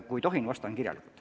Kui tohin, vastan kirjalikult.